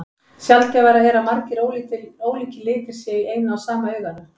Sjaldgæfara er að margir ólíkir litir séu í eina og sama auganu.